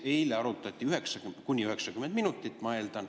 Eile arutati kuni 90 minutit, ma eeldan.